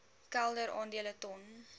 kelder aandele ton